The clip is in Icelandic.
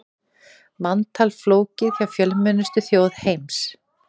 Manntal flókið hjá fjölmennustu þjóð heims